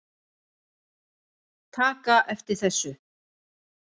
taka eftir þessu